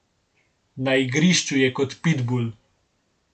Na igrišču je kot pitbul.